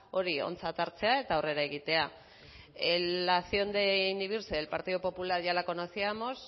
hori ontzat hartzea eta aurrera egitea la acción de inhibirse del partido popular ya la conocíamos